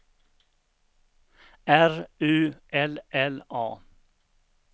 R U L L A